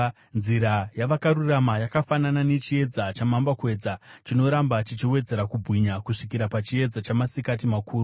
Nzira yavakarurama yakafanana nechiedza chamambakwedza, chinoramba chichiwedzera kubwinya kusvikira pachiedza chamasikati makuru.